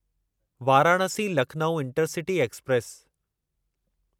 Varanasi Lucknow intercity express